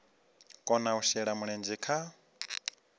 kona u shela mulenzhe kha